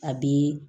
A bi